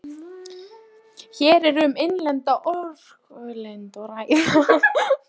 Hér er um innlenda orkulind að ræða.